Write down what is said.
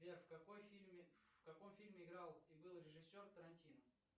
сбер в каком фильме играл и был режиссер тарантино